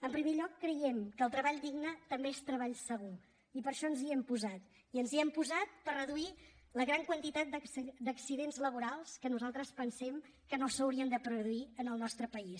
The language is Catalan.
en primer lloc creiem que el treball digne també és treball segur i per això ens hi hem posat i ens hi hem posat per reduir la gran quantitat d’accidents laborals que nosaltres pensem que no s’haurien de produir en el nostre país